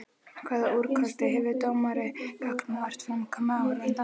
Hvaða úrkosti hefur dómari gagnvart framkomu áhorfenda?